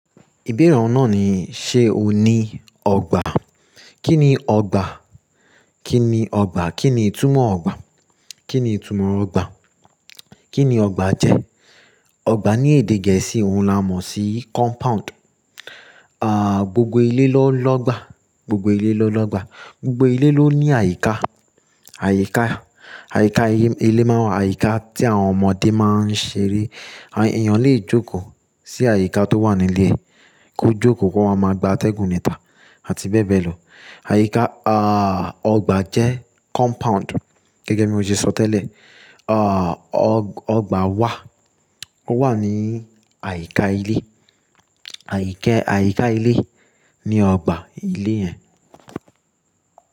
Ìbeere oun naa ni ṣe o ní ọgbà? Kí ni ọgbà? Kí ni ọgbà? Kí ni ìtumọ̀ ọgbà? Kí ni ìtumọ̀ ọgbà? Kí ni ọgbà jẹ́? Ọgbà ní èdè Gẹ̀ẹ́sì òun la mọ̀ sí compound. Ah, gbogbo ilé ló lọ́gbà. Gbogbo ilé ló ń lọ́gbà. Gbogbo ilé ló ní àyíká, àyíká, àyíká ilé máa ń wà. Àyíká tí àwọn ọmọdé máa ń ṣeré. Àwọn èèyàn lè jókòó sí àyíká tó wà nílé, ko jókòó ko wáa máa gbá atẹ́gùn níta àti bẹ́ẹ̀ bẹ́ẹ̀ lọ. Àyíká, ah, ọgbà jẹ́ compound. Gẹ́gẹ́ bí mo ṣe sọ tẹ́lẹ̀, ah, ọ̀, ọgbà wà. Ó wà ní àyíká ilé. Àyíká, àyíká ilé ni ọgbà ilé yẹn.